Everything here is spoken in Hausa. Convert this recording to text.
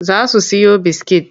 Za su siyo biskit.